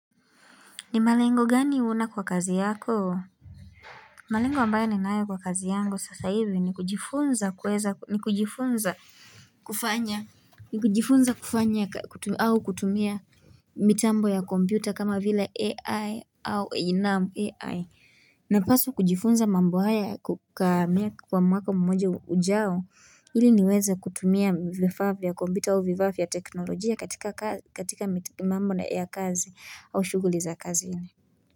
Ni malengo gani una kwa kazi yako? Malengo ambayo ninayo kwa kazi yangu sasa hivi ni kujifunza kuweza ni kujifunza kufanya ni kujifunza kufanya au kutumia mitambo ya kompyuta kama vile AI au naam AI napasa kujifunza mambo haya kukamia kwa mwaka mmoja ujao ili niweze kutumia vifaa vya kompyuta au vifaa vya teknolojia katika mambo ya kazi au shughuli za kazini.